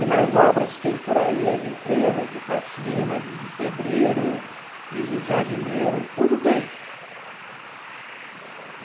E nas obras que tem por aí, as empresas de faxina, de pedreiro, de jardineiro, tudo tem.